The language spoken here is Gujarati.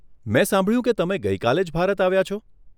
મેં સાંભળ્યું કે તમે ગઇ કાલે જ ભારત આવ્યા છો.